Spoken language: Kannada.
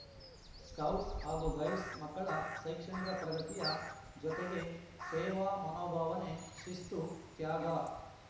ಸ್ಕೌಟ್ಸ್ ಹಾಗೂ ಗೈಡ್ಸ್ ಮಕ್ಕಳ ಶೈಕ್ಷಣಿಕ ಪ್ರಗತಿಯ ಜೊತೆಗೆ ಸೇವಾ ಮನೋಭಾವನೆ ಶಿಸ್ತು ತ್ಯಾಗ